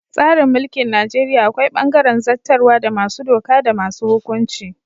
Tsarin mulkin Najeriya akwai bangaren zattarwa da masu doka da masu hukunci.